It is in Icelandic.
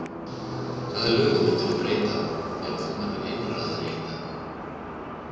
Hvaða lögum myndirðu breyta ef þú værir einráður í einn dag?